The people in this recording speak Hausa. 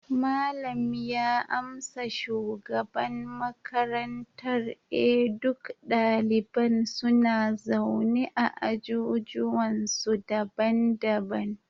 malam ya amsa shugaban makarantar, eh duk daliban suna zaune a ajujuwansu daban-daban